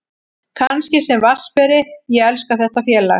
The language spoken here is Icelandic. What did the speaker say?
Kannski sem vatnsberi, ég elska þetta félag.